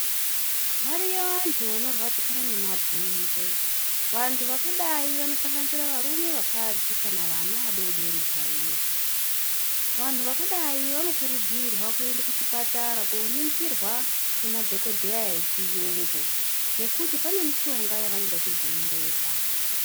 Variyo vantu vanorwadzikana ngemabonzo vantu vakadai vanosanganisira varume, vakadzi kana vana vadodori chaivo vantu vadai vanokurudzirwa kuenda kuchipatara koningirwa ngemadhokodheya echiyungu ngekuti pane mishonga yavanoda kuzonyorerwa.